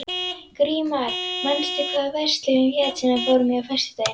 Grímar, manstu hvað verslunin hét sem við fórum í á föstudaginn?